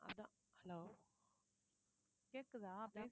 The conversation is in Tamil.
hello கேக்குதா